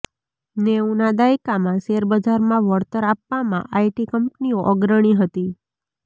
નેવુંના દાયકામાં શેરબજારમાં વળતર આપવામાં આઇટી કંપનીઓ અગ્રણી હતી